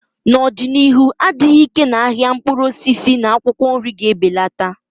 N'ọdịnihu, adịghị ike na ahịa mkpụrụ osisi na akwụkwọ nri ga-ebelata.